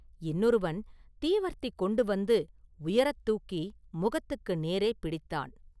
இன்னொருவன் தீவர்த்தி கொண்டுவந்து உயரத் தூக்கி முகத்துக்கு நேரே பிடித்தான்.